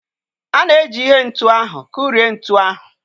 A na-eji ihe ntu ahụ kụrie ntu ahụ.